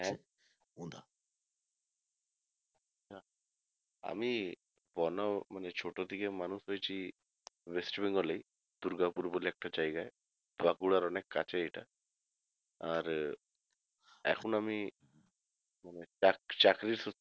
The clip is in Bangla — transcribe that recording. আমি মানে ছোট থেকে মানুষ হয়েছি West Bengal এই দুর্গাপুর বলে একটা জায়গায় বাঁকুড়ার অনেক কাছে এটা আর এখন আমি মানে চাকরি চাকরির সূত্রে